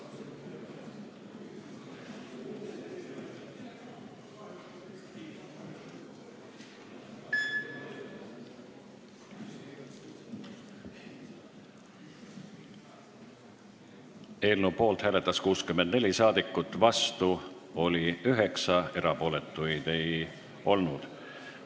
Hääletustulemused Eelnõu poolt hääletas 64 rahvasaadikut, vastu oli 9, erapooletuid ei olnud.